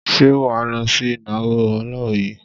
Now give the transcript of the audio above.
Ṣé wà á lọ sí ìnáwó Ọláoyè?